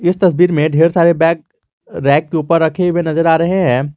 इस तस्वीर में ढेर सारे बैग रैक के ऊपर रखे हुए नजर आ रहे हैं।